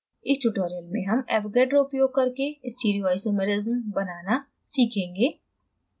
इस tutorial में हम avogadro उपयोग करके stereoisomers बनाना सीखेंगे